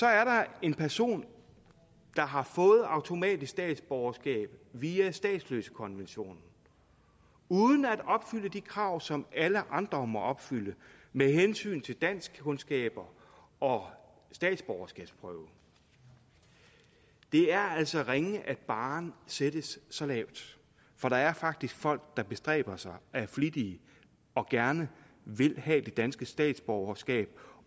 er der en person der har fået automatisk statsborgerskab via statsløsekonventionen uden at opfylde de krav som alle andre må opfylde med hensyn til danskkundskaber og statsborgerskabsprøve det er altså ringe at barren sættes så lavt for der er faktisk folk der bestræber sig er flittige og gerne vil have det danske statsborgerskab